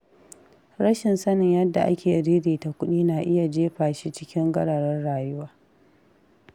Rashin sanin yanda ake ririta kuɗi na iya jefa shi cikin gararin rayuwa.